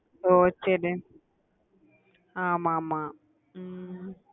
ஓஹ் சரி ஆமா ஆமா ஹம்